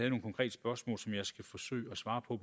skal forsøge at svare på